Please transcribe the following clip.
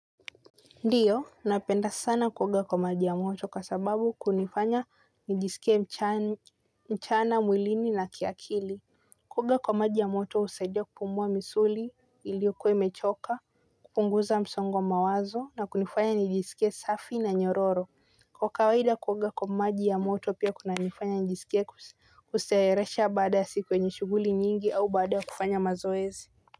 Ndiyo, napenda sana kuoga kwa maji ya moto kwa sababu kunifanya nijisikie mchana mwilini na kiakili. Kuoga kwa maji ya moto husaidia kupumua misuli iliokuwa imechoka, kupunguza msongo wa mawazo na kunifanya nijisikie safi na nyororo. Kwa kawaida kuoga kwa maji ya moto pia kunanifanya nijisike kuseeresha baada ya siku yenye shughuli nyingi au baada ya kufanya mazoezi.